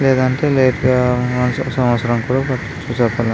లేదంటే లేట్ సంవత్సరం కూడా పట్టచ్చు చెప్పలేం --